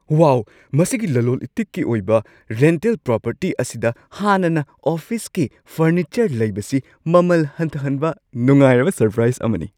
ꯋꯥꯎ! ꯃꯁꯤꯒꯤ ꯂꯂꯣꯟ-ꯏꯇꯤꯛꯀꯤ ꯑꯣꯏꯕ ꯔꯦꯟꯇꯦꯜ ꯄ꯭ꯔꯣꯄꯔꯇꯤ ꯑꯁꯤꯗ ꯍꯥꯟꯅꯅ ꯑꯣꯐꯤꯁꯀꯤ ꯐꯔꯅꯤꯆꯔ ꯂꯩꯕꯁꯤ ꯃꯃꯜ ꯍꯟꯊꯍꯟꯕ ꯅꯨꯡꯉꯥꯏꯔꯕ ꯁꯔꯄ꯭ꯔꯥꯏꯁ ꯑꯃꯅꯤ꯫